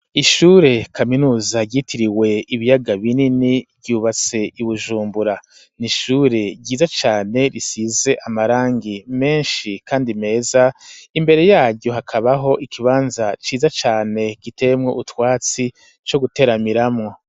Ishure kaminuza ryitiriwe ibiyaga binini, ryubatse i Bujumbura, ni ishure ryiza cane risize amarangi menshi kandi meza, imbere yaryo hakabaho ikibanza ciza cane, giteyemwo utwatsi co guteramiramwo.